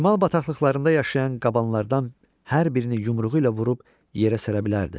Şimal bataqlıqlarında yaşayan qabanlardan hər birini yumruğu ilə vurub yerə səra bilərdi.